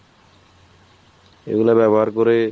এইগুলার ব্যাবহার করে